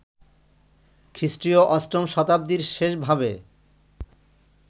খ্রীষ্টীয় অষ্টম শতাব্দীর শেষ ভাবে